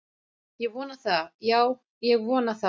Ég vona það, já, ég vona það